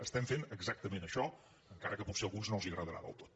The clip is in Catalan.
estem fent exactament això encara que potser a alguns no els agradarà del tot